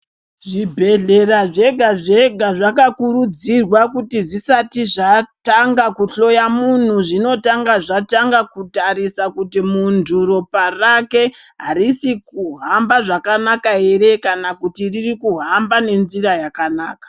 Zvibhehlera zvega zvega zvakakuridzirwa kuti zvisati zvatanga kuhloya munhu zvinotanga zvatanga kutarisa kuti muntu ropa rake arisi kuhamba zvakanaka ere kana kuti riri kuhamba nenzira yakanaka .